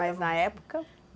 Mas na época?